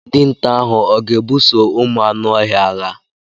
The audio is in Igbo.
Dinta ahụ ọ ga ebuso ụmụ anụ ọhịa agha?